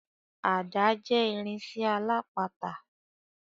Ada jẹ́ irinsẹ́ alápatà.